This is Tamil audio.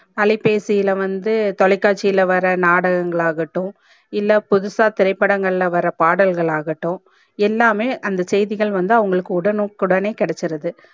அலைபேசில வந்து தொலைகாட்ச்சில வர நாடகங்கள் ஆகட்டும் இல்ல புதுசா திரைப்படங்கள் வர பாடல்கள் ஆகட்டும் எல்லாமே அந்த செய்திகள் வந்து அவங்களுக்கு உடனுக்குடனே கிடச்சிருது